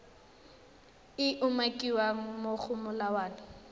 e umakiwang mo go molawana